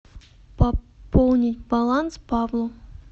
пополнить баланс павлу